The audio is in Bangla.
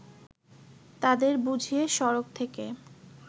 তাদের বুঝিয়ে সড়ক থেকে